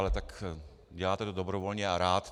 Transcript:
Ale tak děláte to dobrovolně a rád...